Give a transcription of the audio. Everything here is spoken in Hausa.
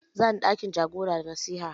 Za ni ɗakin jagora da nasiha.